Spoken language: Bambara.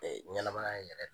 Ee ɲɛnamaya yɛrɛ